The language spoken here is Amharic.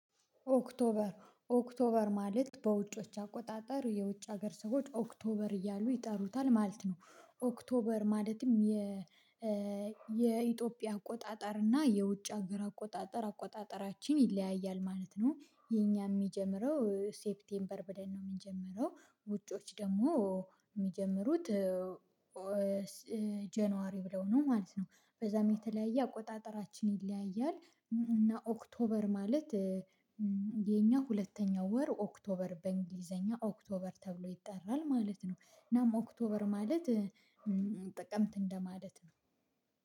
ኦክቶበር ኦክቶበር ማለት በውጮች አቆጣጠር የውጭ ሀገር ሰዎች ኦክቶበር እያሉ ይጠሩታል ማለት ነው ኦክቶበር ማለትም የኢትዮጵያ አቆጣጠር እና የውጭ ሀገር አቆጣጠር አቆጣጠራችን ይለያያል ማለት ነው። የእኛ እሚጀምረው ሴፕቴምበር ብለን ነው እምንጀምረው ውጮች ደግሞ እሚጀምሩት ጃኑዋሪ ብለው ነው ማለት ነው። በዛም የተለያየ አቆጣጠራችን ይለያያል። እና ኦክቶበር ማለት የኛ ሁለተኛው ወር ኦክቶበር በእንግሊዘኛ ኦክቶበር ተብሎ ይጠራል ማለት ነው። እናም ኦክቶበር ማለት ጥቅምት እንደማለት ነው።